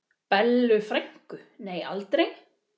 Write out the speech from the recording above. Bellu frænku, nei aldrei.